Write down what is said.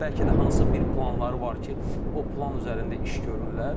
bəlkə də hansısa bir planları var ki, o plan üzərində iş görürlər.